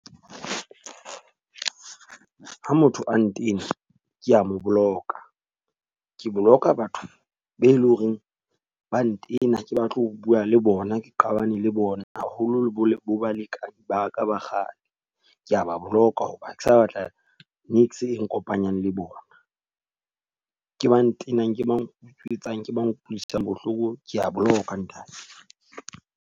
Ha motho a ntena ke a mo block-a. Ke block-a batho be loreng ba ntena ha ke batle ho bua le bona, ke qabane le bona. Haholoholo bo le bo ba ka bakganni ke a ba block-a ho ba ha ke sa batla e nkopanya le bona. Ke ba ntenang, ke ba utswetsa ke ba nkutlwisang bohloko, ke a boloka ntate.